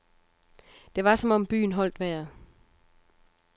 Det var som om byen holdt vejret.